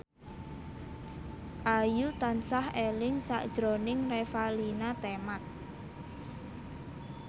Ayu tansah eling sakjroning Revalina Temat